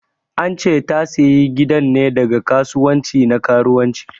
An che ta sayi gidan ne daga kasuwanci na karuwanci.